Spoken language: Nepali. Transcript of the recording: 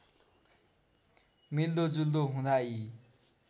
मिल्दोजुल्दो हुँदा यी